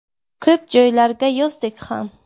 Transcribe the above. Ko‘p joylarga yozdik ham.